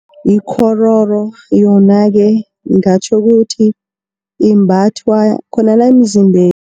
Ikghororo yona-ke ngingatjho ukuthi imbathwa khona la, emzimbeni.